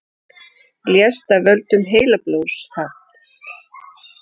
Lést af völdum heilablóðfalls